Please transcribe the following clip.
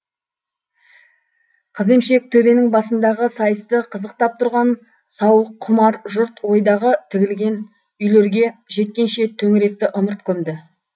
қыземшек төбенің басындағы сайысты қызықтап тұрған сауыққұмар жұрт ойдағы тігілген үйлерге жеткенше төңіректі ымырт көмді